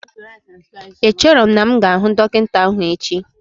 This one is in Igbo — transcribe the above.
Echero m na'm ga ahu Dokinta ahu echi